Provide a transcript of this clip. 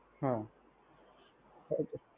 હા ઓકે.